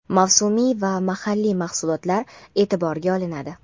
mavsumiy va mahalliy mahsulotlar eʼtiborga olinadi.